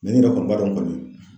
Mɛ ne yɛrɛ kɔni b'a dɔn kɔni